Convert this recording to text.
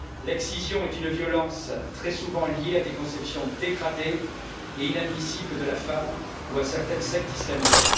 L'excision est une violence très souvent liée à des conceptions dégradantes et inadmissibles de la femme, ou à certaines sectes islamistes.